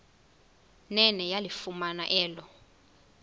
nene yalifumana elo